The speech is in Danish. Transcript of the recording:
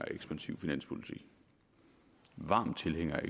af ekspansiv finanspolitik varm tilhænger af